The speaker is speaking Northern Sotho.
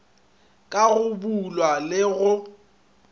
ka go boolwa le go